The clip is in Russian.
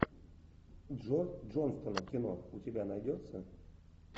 джо джонстона кино у тебя найдется